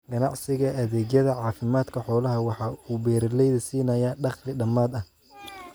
Ganacsiga adeegyada caafimaadka xoolaha waxa uu beeralayda siinayaa dakhli dammaanad ah.